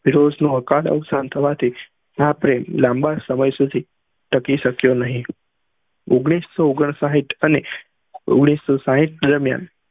ફિરોજ નું અવકાલ અવશાન થવા થી આ પ્રેમ લાંબા સમય સુધી ટકી સક્યો નહી ઓઘ્નીશ સૌ ઓગ્ન્સ સાય્ઠ અને ઓઘ્નીશ સૌ સાય્ઠ ના દરમિયાન